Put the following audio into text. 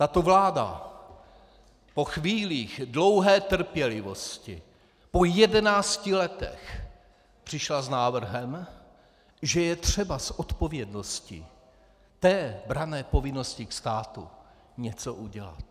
Tato vláda po chvílích dlouhé trpělivosti, po jedenácti letech, přišla s návrhem, že je třeba z odpovědnosti té branné povinnosti k státu něco udělat.